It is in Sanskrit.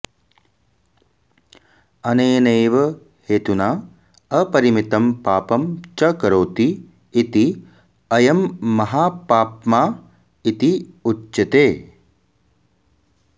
अनेनैव हेतुना अपरिमितं पापं च करोति इति अयं महापाप्मा इति उच्यते